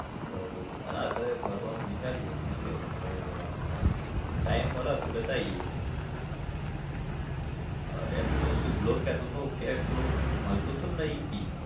બરોબર અલા અત્યારે ફરવાનું વિચારીએ જોઈએ હવે ક્યારે જવાનું થાય time મળે તો જતા આઇએ અલ્યા પેલો શુભલો કેતો તો કે પેલો મળતો ચમ નહિ કી?